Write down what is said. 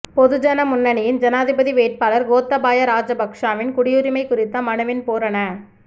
பொதுஜன முன்னணியின் ஜனாதிபதி வேட்பாளர் கோத்தபாய ராஜபக்சவின் குடியுரிமை குறித்த மனுவின் பூரண